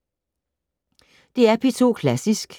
DR P2 Klassisk